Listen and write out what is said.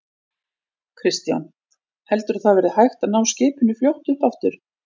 Kristján: Heldurðu að það verði hægt að ná skipinu fljótt upp aftur?